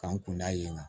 K'an kun da yen nɔ